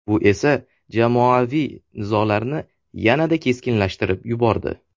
Bu esa jamoaviy nizolarni yanada keskinlashtirib yubordi.